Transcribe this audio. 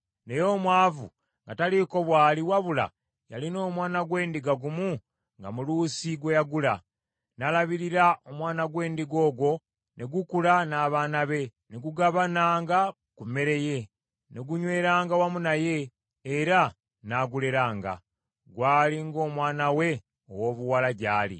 naye omwavu nga taliiko bw’ali wabula yalina omwana gw’endiga gumu nga muluusi gwe yagula. N’alabirira omwana gw’endiga ogwo, ne gukula n’abaana be, ne gugabananga ku mmere ye, ne gunyweranga wamu naye, era n’aguleranga. Gwali ng’omwana we owoobuwala gy’ali.